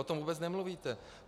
O tom vůbec nemluvíte.